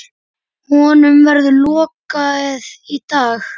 Honum verður lokið í dag.